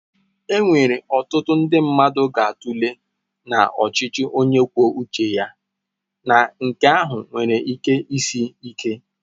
Enwere ọtụtụ ndị mmadụ ga-atụle na ọchịchị onye kwuo uche ya na nke ahụ nwere ike isi ike.